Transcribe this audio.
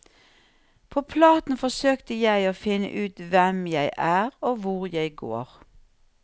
På platen forsøkte jeg å finne ut hvem jeg er og hvor jeg går.